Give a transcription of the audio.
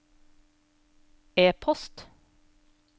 e-post